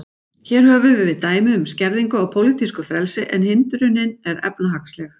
Hér höfum við dæmi um skerðingu á pólitísku frelsi, en hindrunin er efnahagsleg.